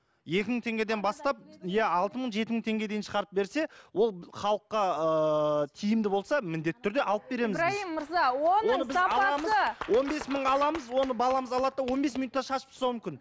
екі мың теңгеден бастап иә алты мың жеті мың теңгеге дейін шығарып берсе ол халыққа ыыы тиімді болса міндетті түрде алып береміз біз ибрайым мырза он бес мыңға аламыз оны баламыз алады да он бес минутта шашып тастауы мүмкін